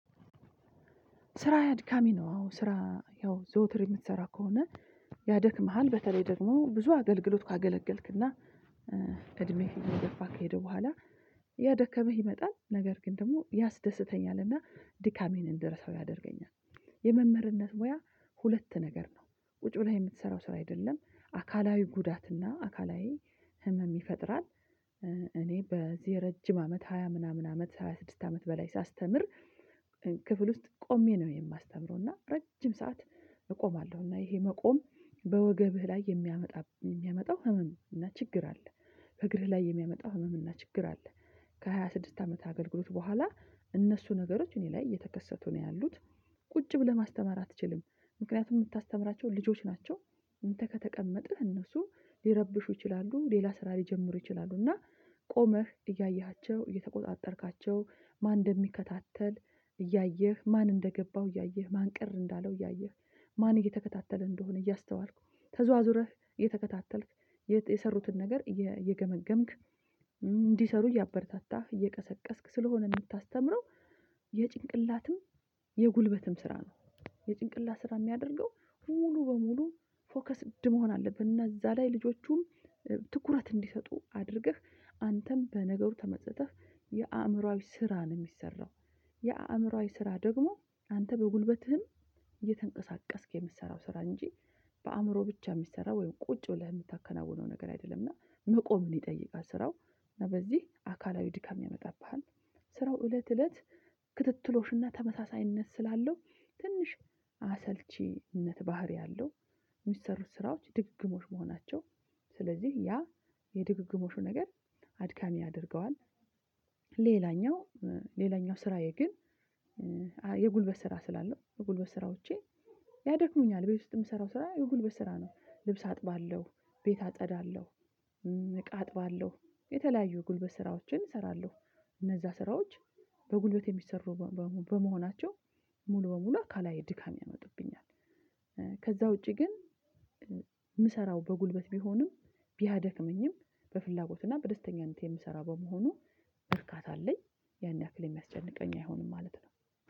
ስራዬ አድካሚ ነው አዎ ስራ ያው ዘውትር የምትሰራ ከሆነ ያደክምሃል። በተለይ ደግሞ ብዙ አገልግሎት ካገለገልክና እድሜህ እየገፋ ከሄደ በኋላ እየደከመህ ይመጣል። ነገር ግን ደግሞ ያስደስተኛልና ድካሜን እንድረሳው ያደርገኛል። የመምህርነት ሙያ ሁለት ነገር ነው። ቁጪ ብለህ የምትሰራው ስራ አይደለም። አካላዊ ጉዳት እና አካላዊ ህመም ይፈጥራል። እኔ በዚህ ረጅም አመት ሃያ ምናምን አመት ሃያ ስድስት አመት በላይ ሳስተምር ክፍል ውስጥ ቆሜ ነው የማስተምረው። እና ረጅም ሰዓት እቆማለሁ። እና ይሄ መቆም በወገብህ ላይ የሚያመጣ የሚያመጣው ህመም እና ችግር አለ። ከእግር ላይ የሚያመጣው ህመም እና ችግር አለ። ከሃያ ስድስት አመት አገልግሎት በኋላ እነሱ ነገሮች እኔ ላይ እየተከሰቱ ነው ያሉት። ቁጭ ብለህ ማስተማር አትችልም። ምክንያቱም የምታስተምራቸው ልጆች ናቸው። እንተ ከተቀመጥክ እነሱ ሊረብሹ ይችላሉ። ሌላ ስራ ሊጀምሩ ይችላሉ። እና ቆመህ እያየሃቸው እየተቆጣጠርካቸው፣ ማን እንደሚከታተል እያየህ፣ ማን እንደገባው እያየህ፣ ማን ቅር እንዳለው እያየህ ማን እየተከታተለ እንደሆነ እያስተዋልኩ፣ ተዟዙረህ እየተከታተልክ የሰሩትን ነገር እየገመገምክ፣ እንዲሰሩ እያበረታታህ፣ እየቀሰቀስክ ስለሆነ የምታስተምረው የጭንቅላትም የጉልበትም ስራ ነው። የጭንቅላት ስራ የሚያደርገው ሙሉ በሙሉ ፎከስድ መሆን አለብህ። እና እዛ ላይ ልጆቹም ትኩረት እንዲሰጡ አድርገህ አንተም በነገሩ ተመስጠህ የአእምሮአዊ ስራ ነው የሚሰራው፤ የአእምሮአዊ ስራ ደግሞ አንተ በጉልበትህም እየተንቀሳቀስክ የምትሰራው ስራ እንጂ በአእምሮህ ብቻ የሚሰራ ወይም ቁጭ ብለህ የምታከናውነው ነገር አይደለምና መቆምን ይጠይቃል ስራው። እና በዚህ አካላዊ ድካም ያመጣብሃል ስራው እለት እለት ክትትሎሽና ተመሳሳይነት ስላለው ትንሽ አሰልቺነት ባህሪ አለው፤ የሚሰሩት ስራዎች ድግግሞሽ መሆናቸው ስለዚህ ያ የድግግሞሹ ነገር አድካሚ ያደርገዋል። ሌላኛው ሌላኛው ስራዬ ግን የጉልበት ስራ ስላለው የጉልበት ስራዎቼ ያደክሙኛል። ቤት ውስጥ የምሰራው ስራ የጉልበት ስራ ነው፤ ልብስ አጥባለሁ፣ ቤት አጸዳለሁ፣ እቃ አጥባለሁ። የተለያዩ ጉልበት ስራዎችን እሰራለሁ። እነዛ ስራዎች በጉልበት የሚሰሩ በመሆናቸው ሙሉ በሙሉ አካላዊ ድካም ያመጡብኛል። ከዛ ውጪ ግን የምሰራው በጉልበት ቢሆንም ቢያደክመኝም በፍላጎት እና በደስተኛነቴ የምሰራ በመሆኑ እርካታ አለኝ። ያን ያክል የሚያስጨንቀኝ አይሆንም ማለት ነው።